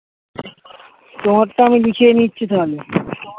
তোমার টা আমি লিখেই নিচ্ছি তাহলে